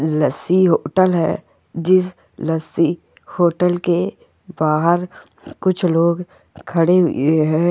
लस्सी hotel है जिस lassi hotel के बाहर कुछ लोग खडे हुए है।